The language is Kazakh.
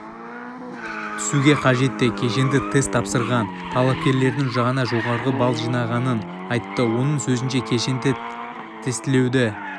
түсуге қажетті кешенді тест тапсырған талапкердің ғана жоғары балл жинағанын айтты оның сөзінше кешенді тестілеуді